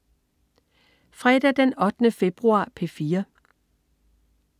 Fredag den 8. februar - P4: